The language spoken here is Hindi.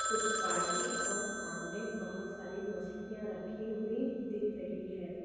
कुछ बाल्टी और सामने बोहोत सारी मछलियाँ रखी हुई दिख रही है।